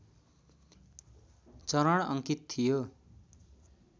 चरण अङ्कित थियो